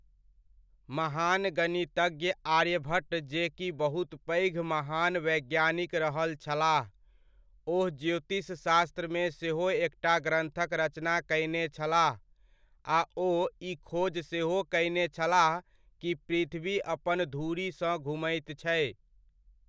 महान गणितज्ञ आर्यभट्ट जे कि बहुत पैघ महान वैज्ञानिक रहल छलाह, ओ ज्योतिषशास्त्रमे सेहो एकटा ग्रन्थक रचना कयने छलाह आ ओ ई खोज सेहो कयने छलाह कि पृथ्वी अपन धुरी सँ घुमैत छै।